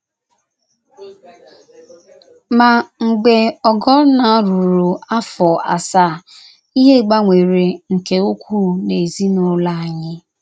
Ma, mgbe Ogonna ruru afọ asaa, ihe gbanwere nke ukwuu n’ezinụlọ anyị.